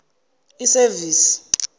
isevisi